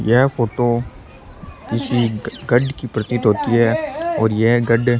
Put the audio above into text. यह फोटो किसी गढ़ की प्रतीत होती है और यह गढ़ --